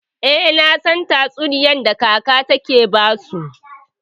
Eh, nasan tatsuniyar da kaka take basu.